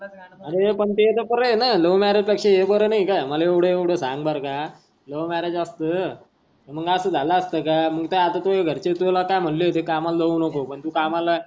अरे पण ते तर बार आहे न. love marriage पेक्षा हे बार नही का माले एवळ एवळ सांग बार का love marriage असत मग अस झाल असत का. मग त्या घरचे तुला काय म्हटले होता कामाला जाऊ नको पण तू कामाला.